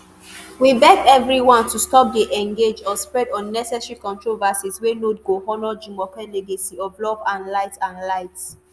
we beg evri one to stop dey engage or spread unnecessary controversies wey no go honour jumoke legacy of love and light. and light.